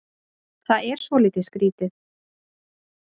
Það er svolítið skrítið